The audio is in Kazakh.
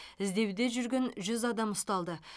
іздеуде жүрген жүз адам ұсталды